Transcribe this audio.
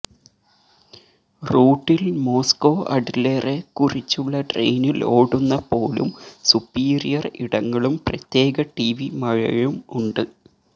റൂട്ടിൽ മോസ്കോ അഡ്ലറെക്കുറിച്ചുള്ള ട്രെയിനിൽ ഓടുന്ന പോലും സുപ്പീരിയർ ഇടങ്ങളും പ്രത്യേക ടിവി മഴയും ഉണ്ട്